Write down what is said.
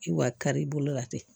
I wa kari i bolo la ten